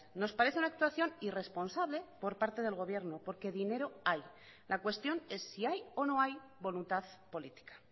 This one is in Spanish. nos parece una actuación irresponsable por parte del gobierno porque dinero hay la cuestión es si hay o no hay voluntad política